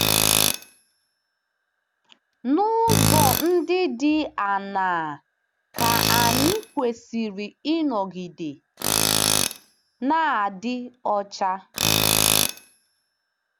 N'ụzọ ndị dị aṅaa ka anyị kwesịrị ịnọgide na-adị ọcha?